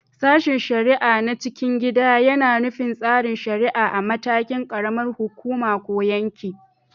Sashen shari’a na cikin gida yAna nufin tsarin shari’a a matakin ƙaramar hukuma ko yanki